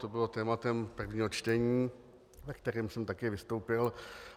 To bylo tématem prvního čtení, ve kterém jsem také vystoupil.